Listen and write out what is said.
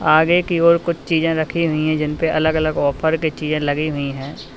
आगे की ओर कुछ चीजें रखी हुई हैं जिनपे अलग अलग ऑफर की चीजें लगी हुई हैं।